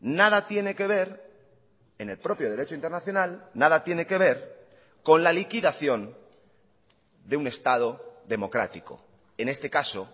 nada tiene que ver en el propio derecho internacional nada tiene que ver con la liquidación de un estado democrático en este caso